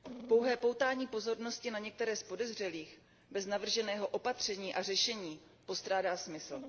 Pouhé poutání pozornosti na některé z podezřelých, bez navrženého opatření a řešení, postrádá smysl.